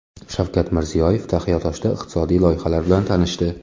Shavkat Mirziyoyev Taxiatoshda iqtisodiy loyihalar bilan tanishdi.